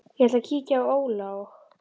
Ég ætla að kíkja á Óla og